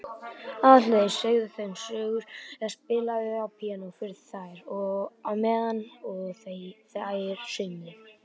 Aðalheiður sagði þeim sögur eða spilaði á píanó fyrir þær á meðan þær saumuðu.